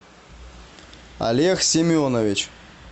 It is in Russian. олег семенович